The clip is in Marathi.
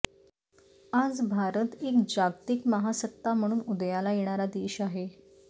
आज भारत एक जागतिक महासत्ता म्हणून उदयाला येणारा देश आहे